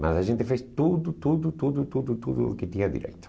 Mas a gente fez tudo, tudo, tudo, tudo, tudo o que tinha direito.